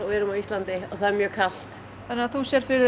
við erum Íslendingar og það er mjög kalt þannig þú sérð fyrir